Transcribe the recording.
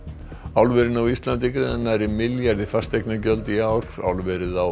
álverin á Íslandi greiða nærri milljarð í fasteignagjöld í ár álverið á